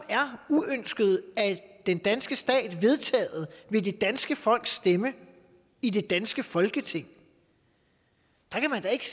er uønskede af den danske stat vedtaget ved det danske folks stemme i det danske folketing kan man da ikke